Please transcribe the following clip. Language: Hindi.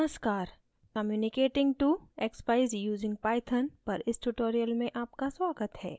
नमस्कार communicating to expeyes using python पर इस tutorial में आपका स्वागत है